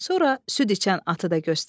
Sonra süd içən atı da göstərdi.